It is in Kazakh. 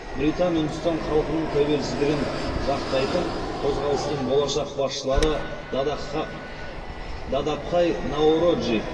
британ үндістан халқының тәуелсіздігін жақтайтын қозғалыстың болашақ басшылары дадабхай наороджи